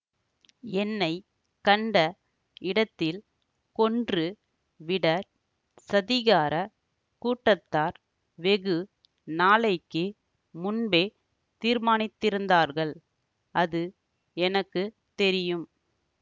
என்னை கண்ட இடத்தில் கொன்று விட சதிகாரக் கூட்டத்தார் வெகு நாளைக்கு முன்பே தீர்மானித்திருந்தார்கள் அது எனக்கு தெரியும்